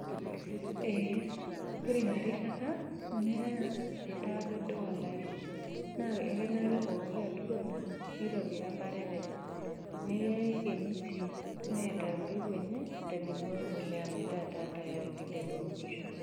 Eeh, ore ina rishata nea etaa pedou olari ekenare pooki aturoni neitobira emparet enye, neikeno sii, neata embeko enye tenebo we mbolea metaa tayari.